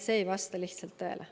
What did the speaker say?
See ei vasta lihtsalt tõele.